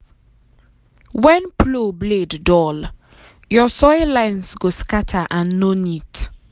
when um plow blade dull your soil lines um go um scatter and no neat.